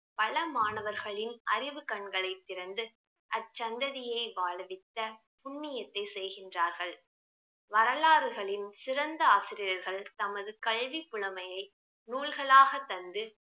பல மாணவர்களின் அறிவு கண்களை திறந்து அச்சங்கதியை வாழவித்த புண்ணியத்தை செய்கின்றார்கள் வரலாறுகளின் சிறந்த ஆசிரியர்கள் தமது கல்வி புலமையை நூல்களாக தந்து